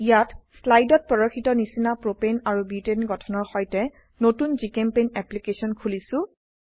ইয়াত স্লাইডত প্ৰদৰ্শিত নিচিনা প্ৰোপেন আৰু বিউটেন গঠনৰ সৈতে নতুন জিচেম্পেইণ্ট অ্যাপ্লিকেশন খুলিছো